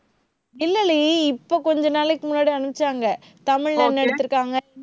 இல்லடி, இப்ப கொஞ்ச நாளைக்கு முன்னாடி அனுப்பிச்சாங்க. தமிழ்ல ஒண்ணு எடுத்திருக்காங்க